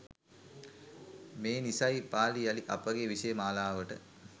මේ නිසයි පාලි යළි අපගේ විෂය මාලාවට